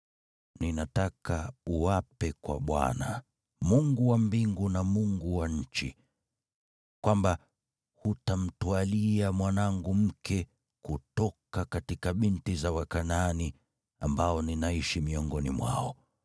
Ninataka uape kwa Bwana , Mungu wa mbingu na Mungu wa nchi, kwamba hutamtwalia mwanangu mke kutoka binti za Wakanaani, ambao ninaishi miongoni mwao,